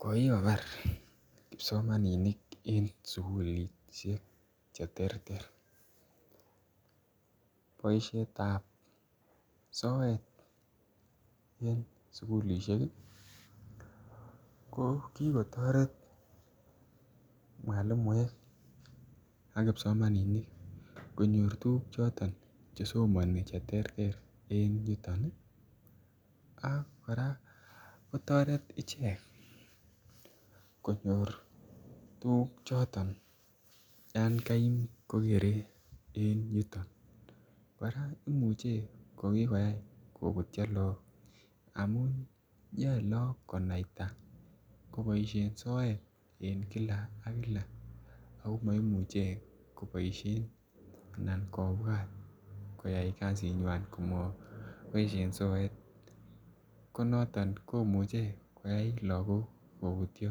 ko kikobar kipsomaninik en sukulishek cheterter. Boishetab soet en sukulishe ko kikotoret mwalimuek ak kipsomaninik konyor tukuk choton chesomnin cheterter en yuton nii ak koraa kotoret ichek konyor tukuk choton yon kaim kokere en yuton .Koraa imuche ko kikoyai kobutyo lok amun yoe lo konaita ko koboishen soet en kila ak kila akomoimuche koboishen anan kobwat koyai kasinywan komoboishen soet ko noton komuche koyai lokok kobutyo.